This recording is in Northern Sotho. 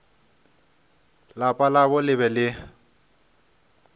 lapa labo le be le